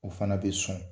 O fana bɛ sɔn